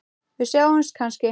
Við sjáumst kannski?